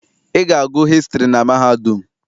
Ị ga-agụ hịstrị na mahadum!